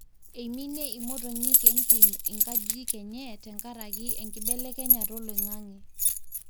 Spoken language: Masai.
eminie imotonyi entim inkajijik enye tenkaraki enkibelekenyata oloingange